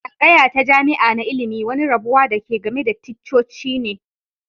Tsangaya ta jami'a na ilmi wani rabuwa da ke game da ticcoci ne.